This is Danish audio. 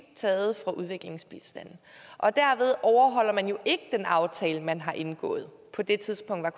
taget fra udviklingsbistanden og derved overholder man jo ikke den aftale man har indgået på det tidspunkt var